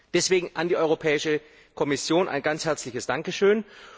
Deswegen an die Europäische Kommission ein ganz herzliches Dankeschön.